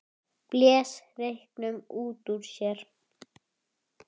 Blés reyknum út úr sér.